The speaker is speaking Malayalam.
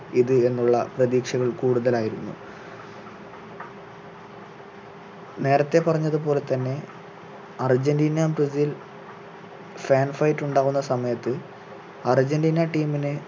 ഇത് എന്നുള്ള പ്രതീക്ഷകൾ കൂടുതലായിരുന്നു നേരത്തെ പറഞ്ഞതു പോലെ തന്നെ അർജന്റീന ബ്രസീൽ fan fight ഉണ്ടാകുന്ന സമയത്ത് അർജന്റീന team നെ